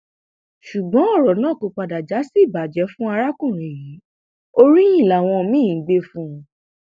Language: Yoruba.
ṣùgbọn ọrọ náà kò padà já sí ìbàjẹ fún arákùnrin yìí oríyìn làwọn míín ń gbé fún un